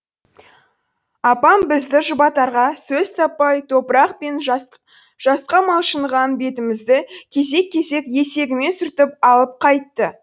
апам бізді жұбатарға сөз таппай топырақ пен жасқа малшыныған бетімізді кезек кезек етегімен сүртіп алып қайтты